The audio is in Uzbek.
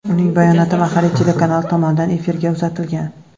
Uning bayonoti mahalliy telekanal tomonidan efirga uzatilgan.